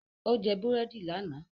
Ó jẹ búrẹ́dì lánàá